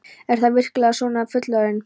Er það virkilega svona að vera fullorðinn?